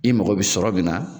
I mago bɛ sɔrɔ min na.